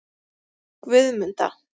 Guðmunda